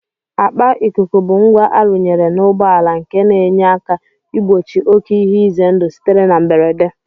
Akpa ikuku bụ ngwa arụnyere n'ụgbọala nke na-enye aka igbochi oké ihe ize ndụ sitere na mberede